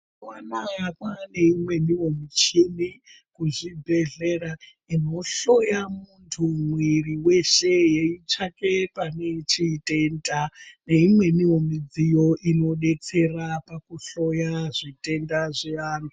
Mazuwa anaya kwane imweniwo michini kuzvibhedhlera inohloya muntu mwiri weshe yeitsvake pane chitenda neimweniwo midziyo inodetsera pakuhloya zvitenda zveantu.